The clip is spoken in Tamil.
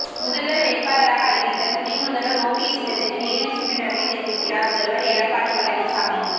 முதல்வர் வேட்பாளராக அறிவித்த துணை முதல்வர் ஓபிஎஸ் இல்லத்துக்கு நேரில் சென்று நன்றி தெரிவிக்கிறார் முதல்வர் எடப்பாடி பழனிசாமி